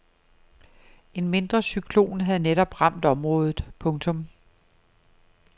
En mindre cyklon havde netop ramt området. punktum